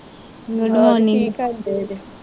ਹੋਰ ਕੀ ਕਰਦੇ ਪਏ।